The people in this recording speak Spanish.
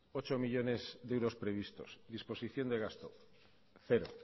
ocho millónes de euros previstos disposición de gasto cero